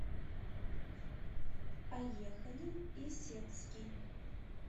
поехали исетский